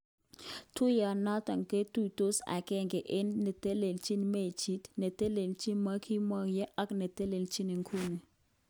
Tuyonoton kotutos agenge eng chetelelchin mechit, netelelchi nekibokeny ak netelechin ikuni.